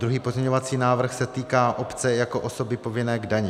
Druhý pozměňovací návrh se týká obce jako osoby povinné k dani.